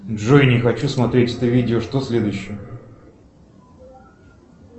джой не хочу смотреть это видео что следующее